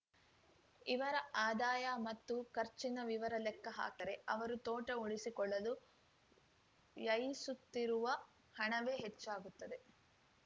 ಇವರ ಆದಾಯ ಮತ್ತು ಖರ್ಚಿನ ವಿವರ ಲೆಕ್ಕ ಹಾಕಿದರೆ ಅವರು ತೋಟ ಉಳಿಸಿಕೊಳ್ಳಲು ವ್ಯಯಿಸುತ್ತಿರುವ ಹಣವೇ ಹೆಚ್ಚಾಗುತ್ತಿದೆ